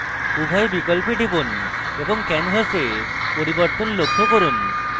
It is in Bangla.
উভয় বিকল্পে টিপুন এবং canvas পরিবর্তন লক্ষ্য করুন